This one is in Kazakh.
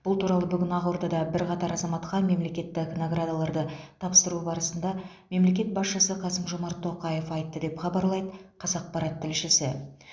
бұл туралы бүгін ақордада бірқатар азаматқа мемлекеттік наградаларды тапсыру барысында мемлекет басшысы қасым жомарт тоқаев айтты деп хабарлайды қазақпарат тілшісі